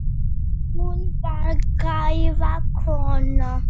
Hún var gæða kona.